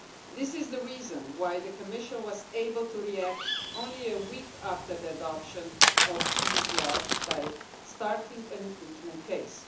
This is the reason why the Commission was able to react only a week after the adoption of these laws by starting an infringement case.